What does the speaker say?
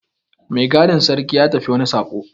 Mai gadin sarki ya tafi wani saƙo.